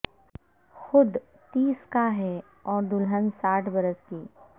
خود تیس کا ہے اور دلہن ساٹھ برس کی